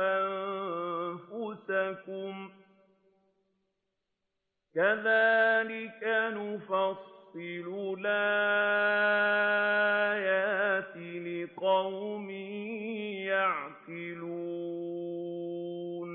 أَنفُسَكُمْ ۚ كَذَٰلِكَ نُفَصِّلُ الْآيَاتِ لِقَوْمٍ يَعْقِلُونَ